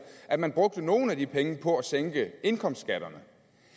at man brugte nogle af de penge på at sænke indkomstskatterne